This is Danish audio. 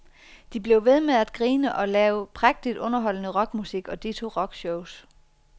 De blev ved med at grine og lave prægtigt underholdende rockmusik og ditto rockshows.